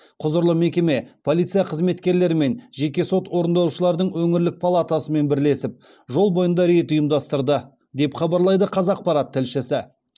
құзырлы мекеме полиция қызметкерлері мен жеке сот орындаушылардың өңірлік палатасымен бірлесіп жол бойында рейд ұйымдастырды деп хабарлайды қазақпарат тілшісі